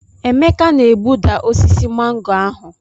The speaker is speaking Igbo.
Emeka na egbuda osisi mango ahụ.